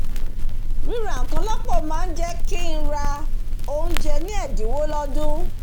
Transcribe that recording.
ríra nkan lópò máá jé kí ra óúnjé ní èdínwó lódúṇ̣